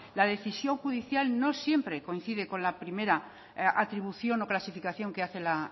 la decisión judicial no siempre coincide con la primera atribución o clasificación que hace la